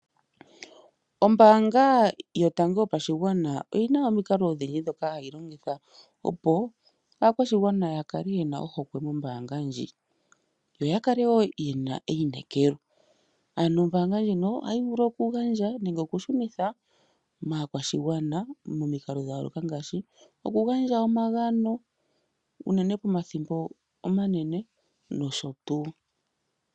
Ombanga yotango yopashingwana oyina omiinkalo odhindji dhoka hayilongitha opo akwashingwana yakale yena ohokwe mombanga ndji, yo yakale wo yena eyinekelo, ano ombanga ndjino ohayivulu okugandja nenge okushunitha kakwashingwana momiikalo dhayoloka ngashi okugandja omagano unene pomathimbo omanene nosho tu.